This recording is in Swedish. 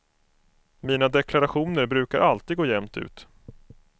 Mina deklarationer brukar alltid gå jämnt ut.